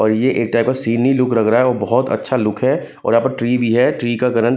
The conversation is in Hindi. और ये एक ड्राइवर बहोत अच्छा लुक है और यहां पर ट्री भी है ट्री का करन--